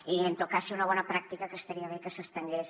i en tot cas seria una bona pràctica que estaria bé que s’estengués